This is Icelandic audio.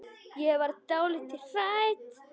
Ég verð dálítið hrædd.